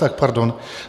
Tak pardon.